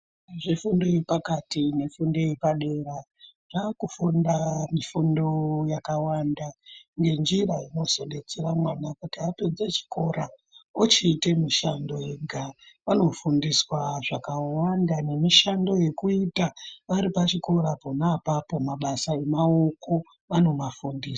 Zvefundo yepakati nefundo yepadera zvakufunda mifundo yakawanda nenjira inozobetsera mwana kuti apedze chikora ochiite mushando ega vanofundiswa zvakawanda nemishando yekuita varipachikora pona apapo mabasa emaoko vanomafundiswa.